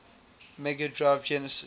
mega drive genesis